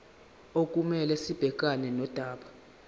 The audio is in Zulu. okumele sibhekane nodaba